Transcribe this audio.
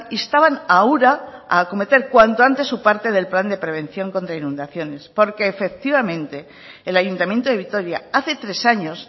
instaban a ura a acometer cuanto antes su parte del plan de prevención contra inundaciones porque efectivamente el ayuntamiento de vitoria hace tres años